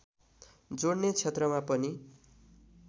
जोड्ने क्षेत्रमा पनि